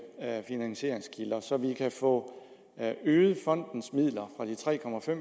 finansieringskilder så vi kan få øget fondens midler fra de tre